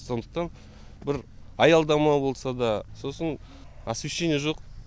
сондықтан бір аялдама болса да сосын освещение жоқ